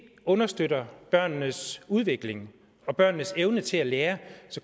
understøtter børnenes udvikling og børnenes evne til at lære